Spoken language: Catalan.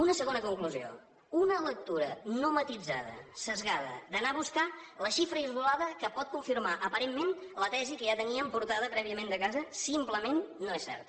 una segona conclusió una lectura no matisada esbiaixada d’anar a buscar la xifra aïllada que pot confirmar aparentment la tesi que ja teníem portada prèviament de casa simplement no és certa